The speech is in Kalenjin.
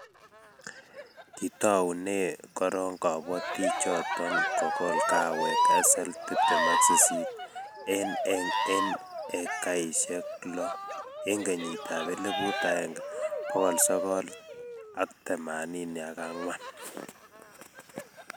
kitoune korok kabotichoto kokol kahawek SL28 eng ekaisiek lo eng kenyitab 1984